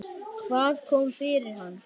Hvað kom fyrir hann?